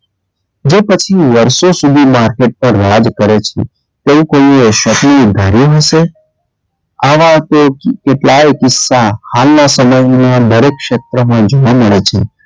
જે પછી વર્ષો સુધી માથે પર રાજ કરે છે તેવું કોઈએ ક્ષતિ ધાર્યું હશે આવા તે કેટલાય કિસ્સા હાલનાં સમયમાં દરેક ક્ષેત્રમાં જોવાં મળે છે.